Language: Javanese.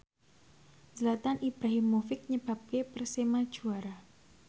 Zlatan Ibrahimovic nyebabke Persema juara